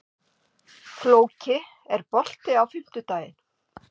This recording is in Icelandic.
Flóki, er bolti á fimmtudaginn?